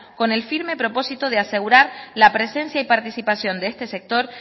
con el firme propósito de asegurar la presencia y participación de este sector